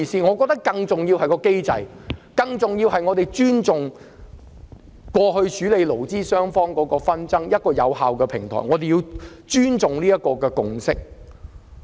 我們認為更重要的是，必須尊重勞資雙方過去處理紛爭的有效機制，亦必須尊重所取得的共識。